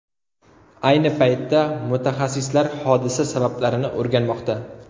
Ayni paytda mutaxassislar hodisa sabablarini o‘rganmoqda.